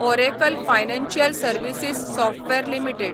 Oracle Financial Services Software limited